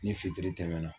Ni fitiri tɛmɛna